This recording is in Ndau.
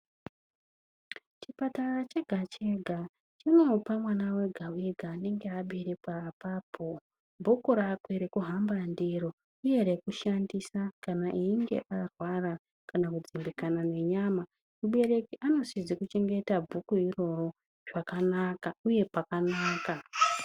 Chipatara chega-chega, chinopa mwana wega-wega anenge aberekwa apapo bhuku rakwe rokuhamba ndiro uye rekushandisa kana eyinge arwara kana kudzimbikana nenyama. Mubereki anosisa kuchengeta bhuku iroro zvakanaka uye pakanaka.